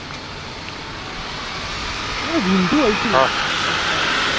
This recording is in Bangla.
অরে রিন্টু বলছিলো চারশো টাকা খরচা।